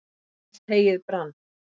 allt heyið brann